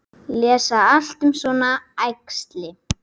Lesa allt um svona æxli?